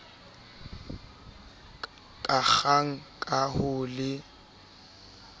ka kgang ka ho le